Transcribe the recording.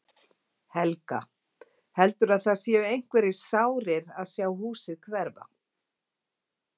Helga: Heldurðu að það séu einhverjir sárir að sjá húsið hverfa?